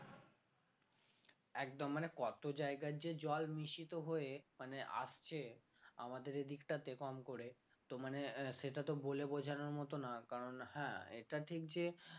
একদম মানে কত জায়গার যে জল মিশিত হয়ে মানে আসছে আমাদের এদিকটাতে কম করে তো মানে আহ সেটা তো বলে বোঝানোর মত না কারণ হ্যাঁ এটা ঠিক যে